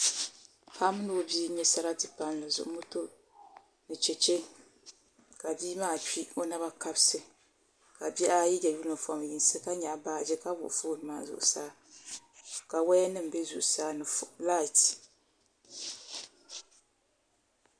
Paɣa mini o bia n nyɛ sarati palli zuɣu moto ni chɛchɛ ka bia maa kpi o naba kabisi ka bihi ayi yɛ yunifom yinsi ka nyaɣa baaji ka wuɣi foon maa zuɣusaa ka woya nim bɛ zuɣusa ni lait